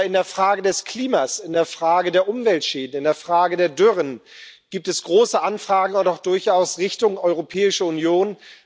Aber in der Frage des Klimas, in der Frage der Umweltschäden, in der Frage der Dürren gibt es große Anfragen und auch durchaus in Richtung Europäische Union.